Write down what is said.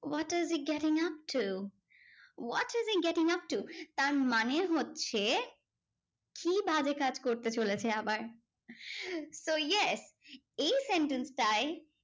What is he getting upto? what is he getting upto? তার মানে হচ্ছে, কি বাজে কাজ করতে চলেছে আবার? so yes এই sentence টায়